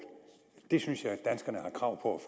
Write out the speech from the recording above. det synes jeg danskerne har krav på